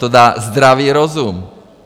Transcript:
To dá zdravý rozum.